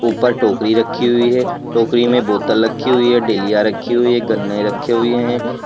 ऊपर टोकरी रखी हुई है। टोकरी में बोतल रखी हुई है डेलिया रखी हुई है गन्ने रखे हुये हैं।